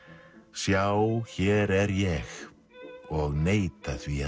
sjá hér er ég og neita því